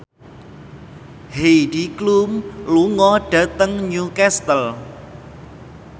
Heidi Klum lunga dhateng Newcastle